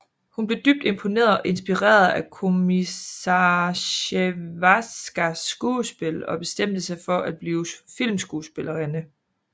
Hun blev dybt imponeret og inspireret af Komissarsjevskajas skuespil og bestemte sig for at blive filmskuespillerinde